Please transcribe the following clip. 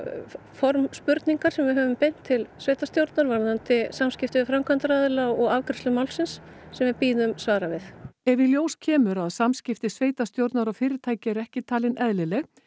form spurningar sem við höfum beint til sveitarstjórnar varðandi samskipti við framkvæmdaraðila og afgreiðslu málsins sem við bíðum svara við ef í ljós kemur að samskipti sveitarstjórnar og fyrirtækjanna eru ekki talin eðlileg